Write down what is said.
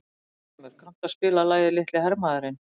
Arngrímur, kanntu að spila lagið „Litli hermaðurinn“?